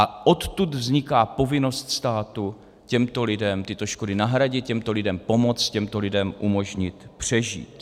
A odtud vzniká povinnost státu těmto lidem tyto škody nahradit, těmto lidem pomoct, těmto lidem umožnit přežít.